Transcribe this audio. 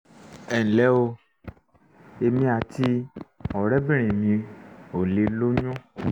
ẹ nlẹ́ o èmi àti ọ̀rẹ́bìnrin mi ò lè lóyún